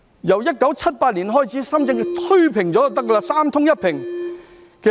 由1978年開始，把深圳推平了便行，達到"三通一平"。